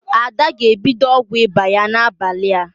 Ada ga-ebido ọgwụ ịba ya n'abalị a.